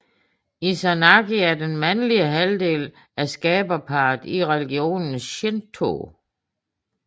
Izanagi er den mandlige halvdel af skaberparret i religionen Shinto